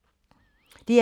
DR2